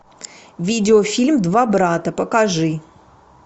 видео фильм два брата покажи